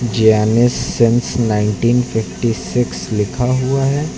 Guinness since nineteen fifty six लिखा हुआ है।